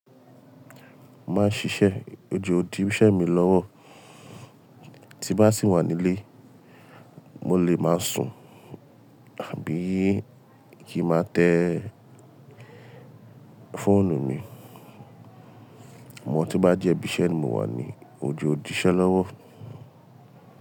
Máa ń ṣiṣẹ́ ojo ọ di ìṣe mi lọ́wọ́, tímbá sì wà nílé, mo lè máa sùn àbí kí máa tẹ fọ́ọ̀nù mi. Àmọ́ to bá jẹ́ ibí iṣẹ́ ni mo wà ní ojo òdì ìṣe lọ́wọ́